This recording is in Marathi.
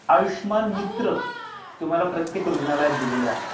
आयुष्यमान मित्र तुम्हाला प्रत्येक रुग्णालयात दिलेले आहेत.